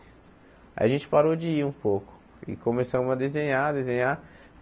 Aí a gente parou de ir um pouco e começamos a desenhar, desenhar.